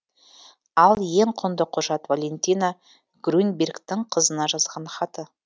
ал ең құнды құжат валентина грюнбергтің қызына жазған хаты